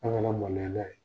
An' ŋana maloya n'a ye!